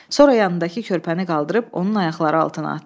Sonra yanındakı körpəni qaldırıb onun ayaqları altına atdı.